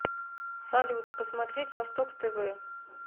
салют посмотреть восток тв